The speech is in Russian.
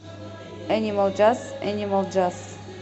энимал джаз энимал джаз